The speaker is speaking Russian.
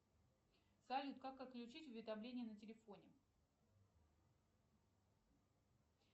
салют как отключить уведомления на телефоне